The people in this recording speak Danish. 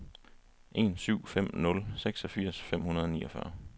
en syv fem nul seksogfirs fem hundrede og niogfyrre